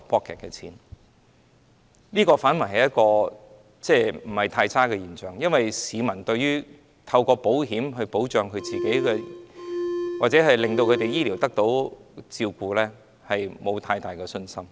這反而是一種不太差的現象，因為市民對於透過保險來保障自己或應付他們的醫療需要，並沒有太大的信心。